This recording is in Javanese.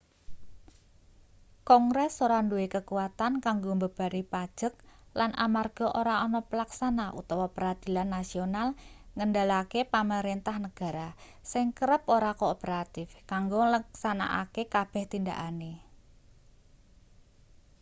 kongres ora duwe kekuatan kanggo mbebani pajek lan amarga ora ana pelaksana utawa peradilan nasional ngendelake pamarentah negara sing kerep ora kooperatif kanggo ngleksanakake kabeh tindakane